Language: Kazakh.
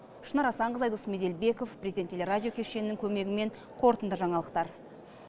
шынар асанқызы айдос меделбеков президент телерадио кешенінің көмегімен қорытынды жаңалықтар